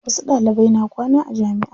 Wasu Ɗalibai na kwana a jamiʼa.